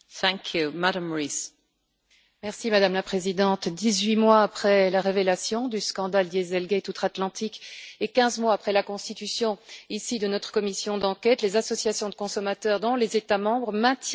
Madame la Présidente, dix huit mois après la révélation du scandale Dieselgate outre Atlantique et quinze mois après la constitution de notre commission d'enquête, les associations de consommateurs dans les États membres maintiennent la pression sur les constructeurs.